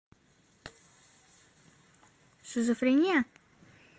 шизофрения